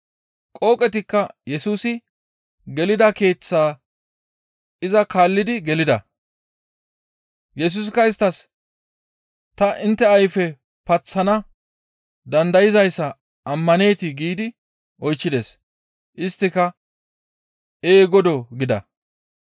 Qooqetikka Yesusi gelida keeththaa iza kaallidi gelida. Yesusikka isttas, «Ta intte ayfe paththana dandayzayssa ammaneetii?» giidi oychchides. Isttika, «Ee, Godoo!» gida.